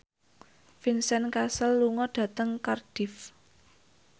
Vincent Cassel lunga dhateng Cardiff